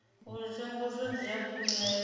uri tsenguluso dzi a khunyeledzwa